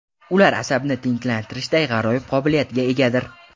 Ular asabni tinchlantirishday g‘aroyib qobiliyatga egadir.